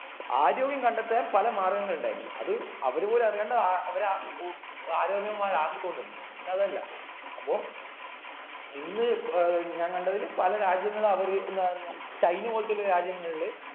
ആരോഗ്യം കണ്ടെത്താൻ പല മാർഗങ്ങൾ ഉണ്ടായിരുന്നു അത് അവര് പോലും അറിയാണ്ട് അഹ് അവര ഉ ആരോഗ്യം മാരി ആക്കിക്കൊണ്ടിന്ന് ഇന്ന് അതല്ല അപ്പൊ ഇന്ന് പൊ ഏർ ഞാൻ കണ്ടതില് പല രാജ്യങ്ങള് അവര് എന്താ പറയാ ചൈന പോലത്തെ ഒക്കെ രാജ്യങ്ങളില്